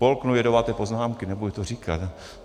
Polknu jedovaté poznámky, nebudu to říkat.